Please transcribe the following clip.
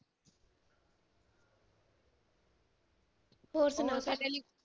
ਹੋਰ ਸੁਣਾ